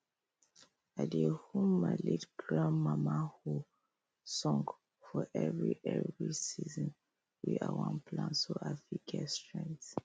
i dey hum my late grandmama hoe song for every every season wey i wan plant so i fit get strength